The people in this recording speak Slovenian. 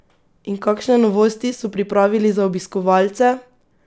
In kakšne novosti so pripravili za obiskovalce?